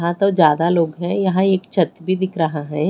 हां तो ज्यादा लोग हैं यहां एक छत भी दिख रहा है।